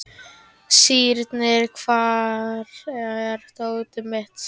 Sírnir, hvar er dótið mitt?